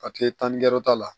A tɛ taa nikɛ yɔrɔ ta la